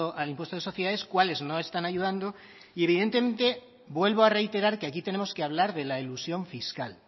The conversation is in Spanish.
al impuesto de sociedades cuáles no están ayudando y evidentemente vuelvo a reiterar que aquí tenemos que hablar de la elusión fiscal